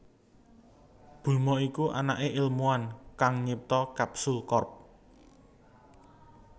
Bulma iku anaké ilmuwan kang nyipta Capsule Corp